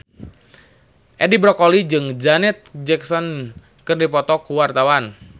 Edi Brokoli jeung Janet Jackson keur dipoto ku wartawan